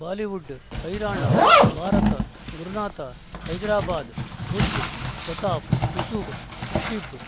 Bollywood ಹೈರಾಣ ಭಾರತ ಗುರುನಾಥ ಹೈದರಾಬಾದ್ ಬುಧ್ ಪ್ರತಾಪ್ ಯೂಸುಫ್ ರಿಷಿಬ್